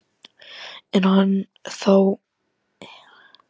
Er hann þá að draga saman lið?